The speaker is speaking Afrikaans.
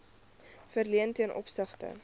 verleen ten opsigte